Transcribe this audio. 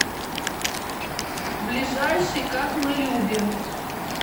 ближайший как мы любим